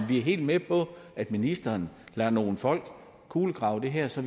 vi er helt med på at ministeren lader nogle folk kulegrave det her så